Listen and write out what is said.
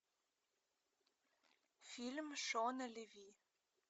фильм шона леви